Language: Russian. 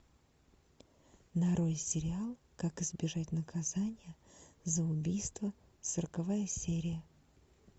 нарой сериал как избежать наказания за убийство сороковая серия